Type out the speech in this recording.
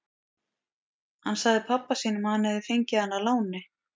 Hann sagði pabba sínum að hann hefði fengið hana að láni.